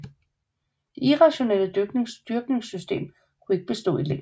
Det irrationelle dyrkningssystem kunne ikke bestå i længden